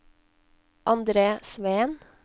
Andre Sveen